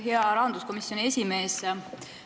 Hea rahanduskomisjoni esimees!